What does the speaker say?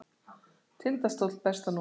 Tindastóll Besta númer?